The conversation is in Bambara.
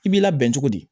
I b'i labɛn cogo di